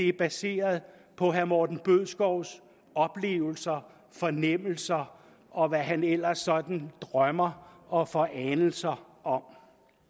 er baseret på herre morten bødskovs oplevelser fornemmelser og hvad han ellers sådan drømmer og får anelser om